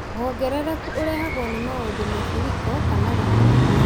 Wongerereku ũrehagwo nĩ maũndũ maburiko kana riua